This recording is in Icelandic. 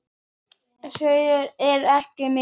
Skaði þeirra er mikill.